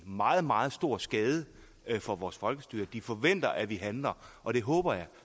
meget meget stor skade for vores folkestyre de forventer at vi handler og det håber jeg